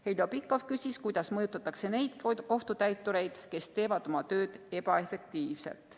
Heljo Pikhof küsis, kuidas mõjutatakse neid kohtutäitureid, kes teevad oma tööd ebaefektiivselt.